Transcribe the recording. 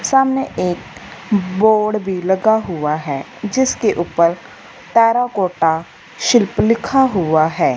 सामने एक बोर्ड भी लगा हुआ है जिसके ऊपर टेराकोटा शिल्प लिखा हुआ है।